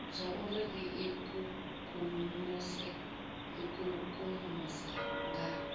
zwauri ri ikukumuse ikukumusa nga